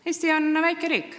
Eesti on väikeriik.